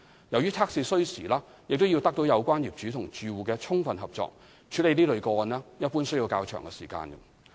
由於測試需時，並要得到有關業主或住戶的充分合作，處理這類個案一般需要較長時間。